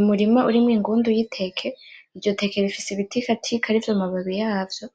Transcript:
Umurima urimwo ingundu y'iteke, iryo teke rifise ibitikatika arivyo mababi yavyo